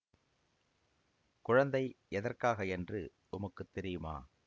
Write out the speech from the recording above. குழந்தை எதற்காக என்று உமக்குத் தெரியுமா